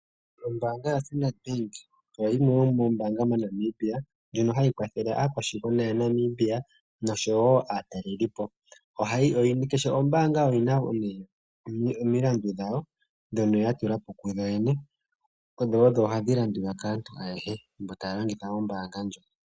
Ombaanga yoStandard bank oyo yimwe yomoombaanga moNamibia ndjono hayi kwathele aakwashigwana ya Namibia oshowo aatalelipo kehe ombaanga oyina omilandu dhawo dhono ya tula po kuyo yene dho odho hadhi landulwa kaantu ayehe mbo taa longitha ombaanga ndjo.